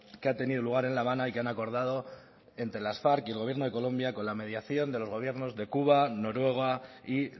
que ha tenido lugar en la habana y que han acordado entre las farc y el gobierno de colombia con la mediación de los gobiernos de cuba noruega y